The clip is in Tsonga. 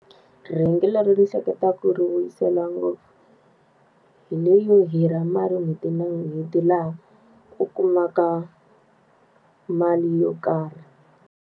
Rhengu leri ni hleketaka ku ri vuyisela ngopfu, hi leyo hirha mali n'hweti na n'hweti laha u kumaka mali yo karhi.